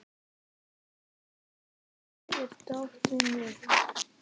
Fífill, hvar er dótið mitt?